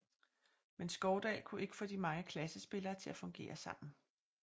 Men Skovdahl kunne ikke få de mange klassespillere til at fungere sammen